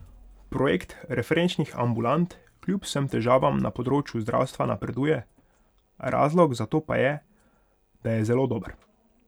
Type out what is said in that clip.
Projekt referenčnih ambulant kljub vsem težavam na področju zdravstva napreduje, razlog za to pa je, da je zelo dober.